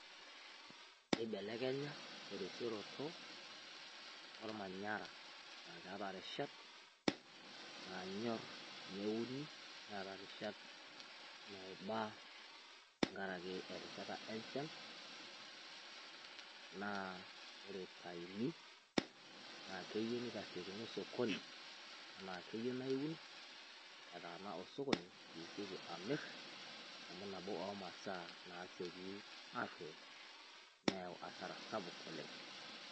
Ebelekenya terishoroto o manyaara a keeta rishaat naanyor neuni, neeta rishaat naibaa teng'araki erishata e nchaan. Naa ore etaini na keyeu nitasekuni sokoni ena keyeu naa euun etaana osokoni piishooki amiir amu naboo o masaa naishooki aroyoo neiyeu hasara sapuk oleng.